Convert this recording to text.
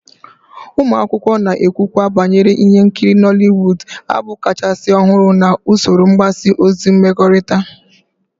Ụmụ akwụkwọ na-ekwukwa banyere ihe nkiri Nollywood, abụ kachasị ọhụrụ na usoro mgbasa ozi mmekọrịta